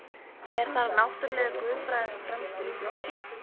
Er þar náttúruleg guðfræði fremst í flokki.